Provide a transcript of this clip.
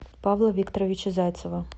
павла викторовича зайцева